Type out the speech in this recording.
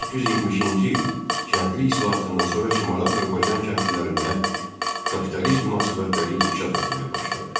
1870-ci il kəndli islahatından sonra Şimali Azərbaycan kəndlilərində kapitalist münasibətləri inkişaf etməyə başladı.